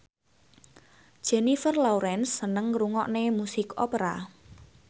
Jennifer Lawrence seneng ngrungokne musik opera